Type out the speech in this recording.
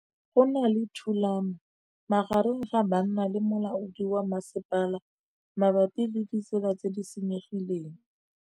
Go na le thulanô magareng ga banna le molaodi wa masepala mabapi le ditsela tse di senyegileng.